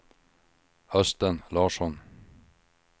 Östen Larsson